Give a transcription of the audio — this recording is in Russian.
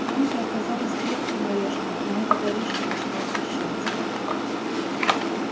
янки оказались крепким орешком но этот орешек начинал трещать